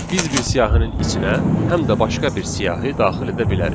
Biz bir siyahının içinə həm də başqa bir siyahı daxil edə bilərik.